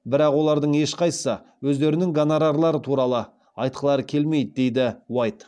бірақ олардың ешқайсысы өздерінің гонорарлары туралы айтқылары келмейді деді уайт